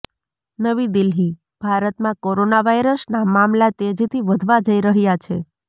નવી દિલ્હીઃ ભારતમાં કોરોના વાયરસના મામલા તેજીથી વધતા જઈ રહ્યા છે